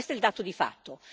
Questo è il dato di fatto.